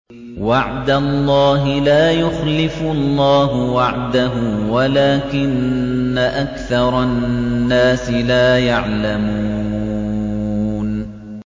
وَعْدَ اللَّهِ ۖ لَا يُخْلِفُ اللَّهُ وَعْدَهُ وَلَٰكِنَّ أَكْثَرَ النَّاسِ لَا يَعْلَمُونَ